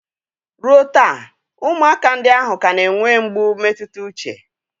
Ruo taa, ụmụaka ndị ahụ ka na-enwe mgbu mmetụta uche